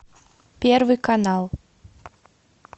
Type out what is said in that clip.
первый канал